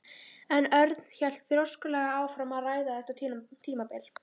En Örn hélt þrjóskulega áfram að ræða þetta tímabil.